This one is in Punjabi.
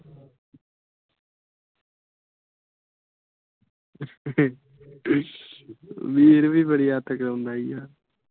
ਵੀਰ ਵੀ ਬੜੀ ਅੱਤ ਕਰਾਉਂਦਾ ਆ।